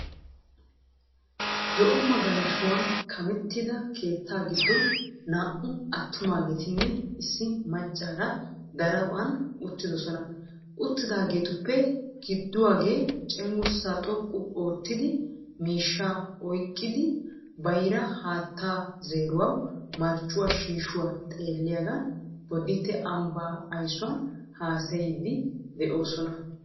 Zo"o magaalashshuwan kameettida keetta giddon naa"u attummageetinne issi maccaara daraphphan uttidosona. Uttidaagetuppe gidduwaage cengguurssa xooqqu oottiya miishsha oyiiqidi baayiira haattaa zeeruwawu marccuwaa shiishuwaa xeelliyaagan booddite ammbba ayiisuwaan haasayidi de"oosona.